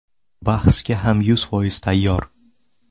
Bahsga hamma yuz foiz tayyor.